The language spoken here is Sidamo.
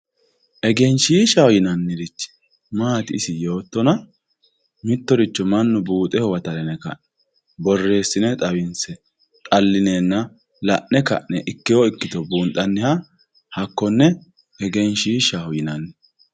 Egenshiishshaho yinannirichi maati isi yoottonna, mittoricho mannu buuxe huwattara yine ka'ne borreesine xawinse xallinenna la'ne ka'ne ikkewo ikkitto buunxaniha hakkone egenshiishaho yinanni.